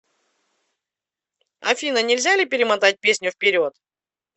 афина нельзя ли перемотать песню вперед